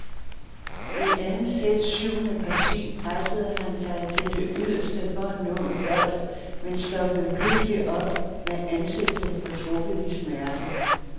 I andet sæts syvende parti pressede han sig til det yderste for at nå en bold, men stoppede pludselig op med ansigtet fortrukket i smerte.